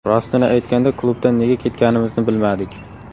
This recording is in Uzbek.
Rostini aytganda, klubdan nega ketganimizni bilmadik.